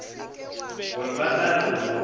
gore ba tla re go